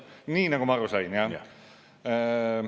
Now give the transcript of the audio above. ... nii nagu ma aru sain.